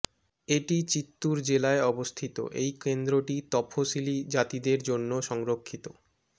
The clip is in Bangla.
এটি চিত্তুর জেলায় অবস্থিত এই কেন্দ্রটি তফসিলী জাতিদের জন্য সংরক্ষিত